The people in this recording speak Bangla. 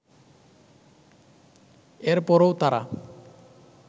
এরপরও তাঁরা